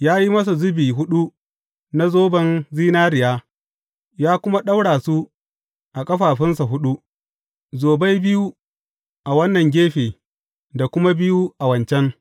Ya yi masa zubi huɗu na zoban zinariya, ya kuma ɗaura su a ƙafafunsa huɗu, zobai biyu a wannan gefe da kuma biyu a wancan.